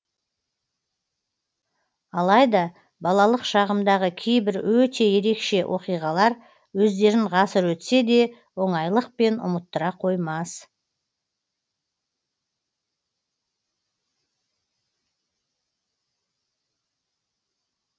алайда балалық шағымдағы кейбір өте ерекше оқиғалар өздерін ғасыр өтсе де оңайлықпен ұмыттыра қоймас